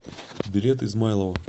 билет измайлово